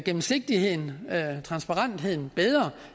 gennemsigtigheden transparensen bedre